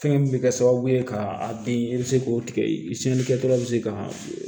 Fɛn min bɛ kɛ sababu ye ka a bin i bɛ se k'o tigɛ i cɛnli kɛ dɔrɔn bɛ se ka